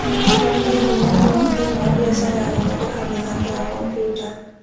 Nĩ kambuni ĩĩ ngumo mũno thĩinĩ wa biacara ya gũthondeka mĩthako ya kompiuta.